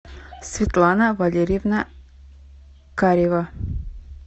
светлана валерьевна карева